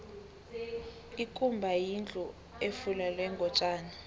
ikumba yindlu efulelwe ngotjani